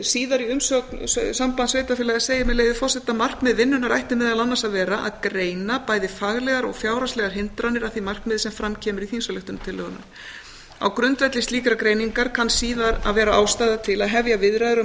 síðar í umsögn sambands íslenskra sveitarfélaga segir með leyfi forseta markmið vinnunnar ætti meðal annars að vera að greina bæði faglegar og fjárhagslegar hindranir að því markmiði sem fram kemur í þingsályktunartillögunni á grundvelli slíkrar greiningar kann síðar að vera ástæða til að hefja viðræður á